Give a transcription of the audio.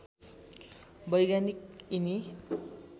वैज्ञानिक यिनी